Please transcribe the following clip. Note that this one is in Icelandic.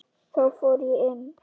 Þá fór ég inn.